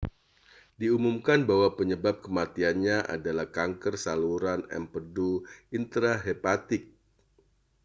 diumumkan bahwa penyebab kematiannya adalah kanker saluran empedu intrahepatik